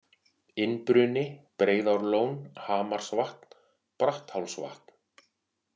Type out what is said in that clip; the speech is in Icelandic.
Innbruni, Breiðárlón, Hamarsvatn, Bratthálsvatn